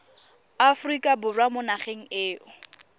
aforika borwa mo nageng eo